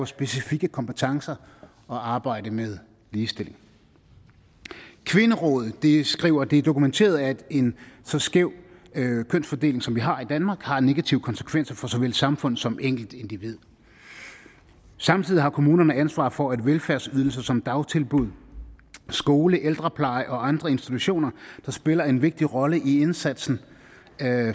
specifikke kompetencer at arbejde med ligestilling kvinderådet skriver det er dokumenteret at en så skæv kønsfordeling som vi har i danmark har negative konsekvenser for såvel samfund som enkeltindivid samtidig har kommunerne ansvar for velfærdsydelser som dagtilbud skole ældrepleje og andre institutioner der spiller en vigtig rolle i indsatsen